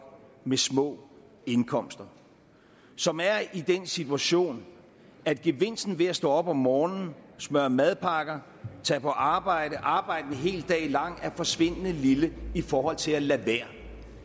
med små indkomster som er i den situation at gevinsten ved at stå op om morgenen smøre madpakker tage på arbejde arbejde en hel dag lang er forsvindende lille i forhold til at lade være